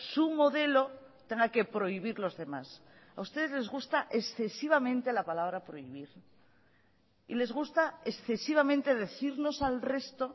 su modelo tenga que prohibir los demás a ustedes les gusta excesivamente la palabra prohibir y les gusta excesivamente decirnos al resto